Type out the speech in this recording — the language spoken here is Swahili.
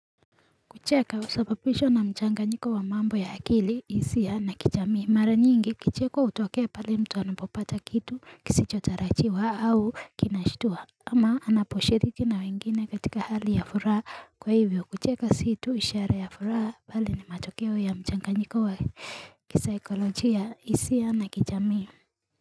Kucheka husapapishwa na mchanganyiko wa mambo ya akili isia na kichamii Mara nyingi kicheko utokea pale mtu anapopata kitu kisichotarachiwa au kinashitua ama anaposhiriki na wengine katika hali ya furaha kwa hivyo kucheka si tu ishara ya furaha bali ni matokeo ya mchanganyiko wa kisaikolojia isia na kijamii.